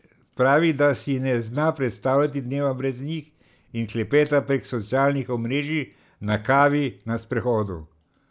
Pravi, da si ne zna predstavljati dneva brez njih in klepeta prek socialnih omrežij, na kavi, na sprehodu.